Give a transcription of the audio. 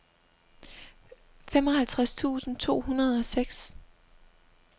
femoghalvtreds tusind to hundrede og seks